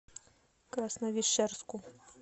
красновишерску